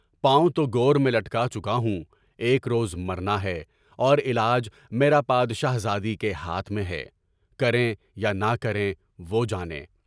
پاؤں تو گور میں لٹکا چکا ہوں، ایک روز مرنا ہے اور علاج میرا پاد شاہ زادی کے ہاتھ میں ہے، کریں یا نہ کریں وہ جانے۔